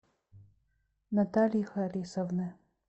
натальи харисовны